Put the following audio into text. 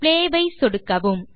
play ஐ சொடுக்கவும்